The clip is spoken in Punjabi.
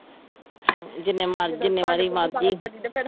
ਹਮ ਜਿੰਨੇ ਮਰਜੀ ਜਿੰਨੇ ਵਾਰੀ ਮਰਜੀ